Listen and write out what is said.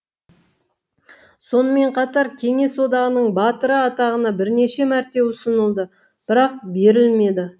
сонымен қатар кеңес одағының батыры атағына бірнеше мәрте ұсынылды бірақ берілмеді